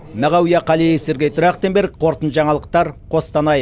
мағауия қалиев сергей трахтенберг қорытынды жаңалықтар қостанай